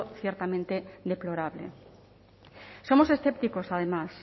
ciertamente deplorable somos escépticos además